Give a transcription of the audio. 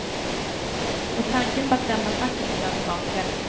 Och tanken på att lämna facket blir allt vanligare.